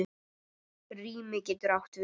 Rými getur átt við